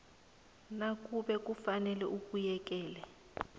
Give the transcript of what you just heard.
nakube kufanele ubuyekeze